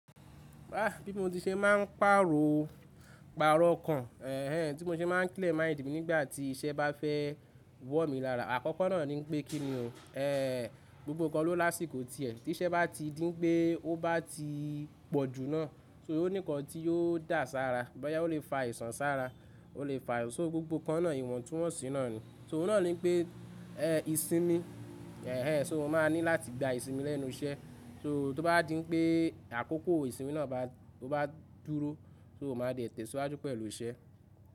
Bá bí mo ti ṣe máa ń pàrọ̀, pàrọ̀ okan, ẹ eh, tí mo ṣe máa ń klẹ̀ máìndì mi nígbà tí iṣẹ́ bá fẹ́ wọ̀ mí lára. Àkọ́kọ́ náà ní pé kí ni o, ẹ gbogbo kan ló lásìkò ti ẹ̀. Tí iṣẹ́ bá ti dí pé ó bá ti pọ̀jù náà, só oní nkàn tí yóò dà sára. Bọ́yá ó lè fa ìsan sára, ó lè fa-- so gbogbo kan náà ìwọ̀ntúnwọ̀nsì náà ni. So ọ́ náà ní pé ẹ ìsinmi, ẹ eh, so mo máa ní láti gba ìsinmi lẹ́nu iṣẹ́. So tó bá dí pé àkókò ìsinmi náà bá, tó bá dúró, so mo máa dẹ̀ tẹ̀síwájú pẹ̀lú iṣẹ́.